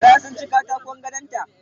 Gara sun ci katakon gadonta